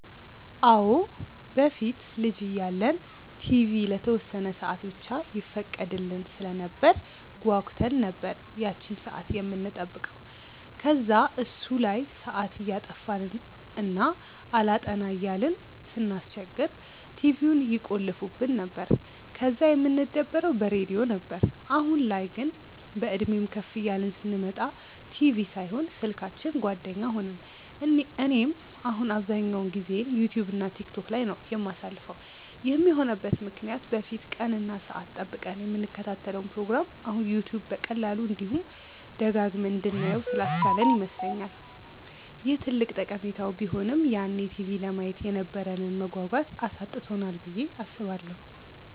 አዎ። በፊት ልጅ እያለን ቲቪ ለተወሰነ ሰአት ብቻ ይፈቀድልን ስለነበር ጓጉተን ነበር ያቺን ሰአት የምንጠብቀው። ከዛ እሱ ላይ ሰአት እያጠፋን እና አላጠና እያልን ስናስቸግር ቲቪውን ይቆልፉብን ነበር፤ ከዛ የምንደበረው በሬድዮ ነበር። አሁን ላይ ግን፤ በእድሜም ከፍ እያልን ስንመጣ ቲቪ ሳይሆን ስልካችን ጓደኛ ሆነን። እኔም አሁን አብዛኛውን ጊዜዬን ዩትዩብ እና ቲክቶክ ላይ ነው የማሳልፈው። ይህም የሆነበት ምክንያት በፊት ቀን እና ሰአት ጠብቀን የምንከታተለውን ፕሮግራም አሁን ዩትዩብ በቀላሉ፤ እንዲሁም ደጋግመን እንድናየው ስላስቻለን ይመስለኛል። ይህ ትልቅ ጠቀሜታው ቢሆንም ግን ያኔ ቲቪ ለማየት የነበረንን መጓጓት አሳጥቶናል ብዬ አስባለሁ።